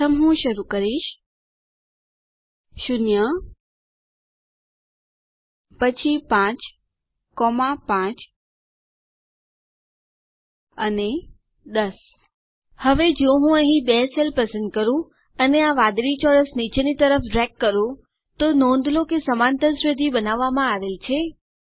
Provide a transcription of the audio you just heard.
પ્રથમ હું શરૂ કરીશ 0 પછી 5 5 અને 10 હવે જો હું અહીં બે સેલ પસંદ કરું અને પછી આ વાદળી ચોરસ નીચેની તરફ ડ્રેગ કરું તો નોંધ લો કે સમાંતર શ્રેઢી બનાવવામાં આવેલ છે